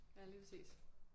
Ja lige præcis